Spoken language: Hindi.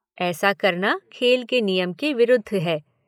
ऐसा करना खेल के नियम के विरुद्ध है।